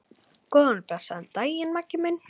Góðan og blessaðan daginn, Maggi minn.